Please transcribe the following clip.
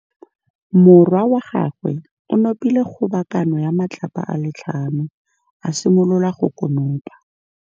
Morwa wa gagwe o nopile kgobokanô ya matlapa a le tlhano, a simolola go konopa.